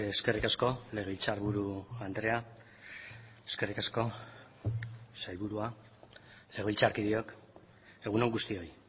eskerrik asko legebiltzarburu andrea eskerrik asko sailburua legebiltzarkideok egun on guztioi